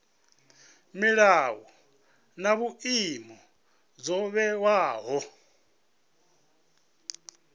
milayo na vhuimo zwo vhewaho